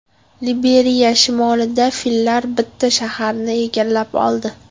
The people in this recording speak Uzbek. Liberiya shimolida fillar bitta shaharni egallab oldi.